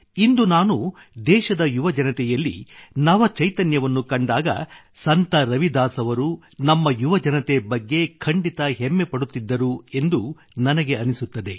ಇಂದು ನಾನು ದೇಶದ ಯುವಜನತೆಯಲ್ಲಿ ನವ ಚೈತನ್ಯವನ್ನು ಕಂಡಾಗ ಸಂತ ರವಿದಾಸ್ ಅವರು ನಮ್ಮ ಯುವಜನತೆ ಬಗ್ಗೆ ಖಂಡಿತ ಹೆಮ್ಮೆಪಡುತ್ತಿದ್ದರು ಎಂದು ನನಗೆ ಅನ್ನಿಸುತ್ತದೆ